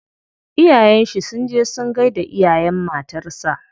Iyayen shi sun je sun gaida iyayen matar sa.